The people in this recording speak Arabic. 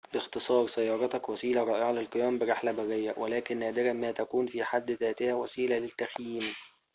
باختصار سيارتك وسيلة رائعة للقيام برحلة برية ولكن نادراً ما تكون في حد ذاتها وسيلة للتخييم